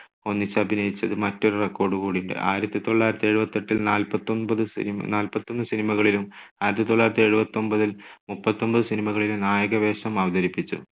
ഒന്നിച്ചഭിനയിച്ചത് മറ്റൊരു record കൂടിയാ. ആയിരത്തി തൊള്ളായിരത്തി എഴുപത്തെട്ടിൽ നാൽപത്തൊമ്പത് cinema നാൽപത്തൊന്ന് cinema കളിലും ആയിരത്തി തൊള്ളായിരത്തി എഴുപത്തൊൻപതിൽ മുപ്പത്തൊന്ന് cinema കളിലും നായകവേഷം അവതരിപ്പിച്ചു.